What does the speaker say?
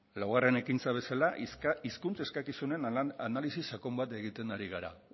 laugarren ekintza bezala hizkuntz eskakizunen analisi sakon bat egiten ari gara